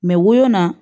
woyo na